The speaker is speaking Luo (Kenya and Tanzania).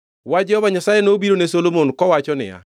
Wach Jehova Nyasaye nobiro ne Solomon kowacho niya,